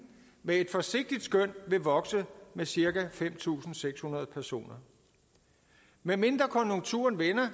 med et forsigtigt skøn vil vokse med cirka fem tusind seks hundrede personer medmindre konjunkturerne vender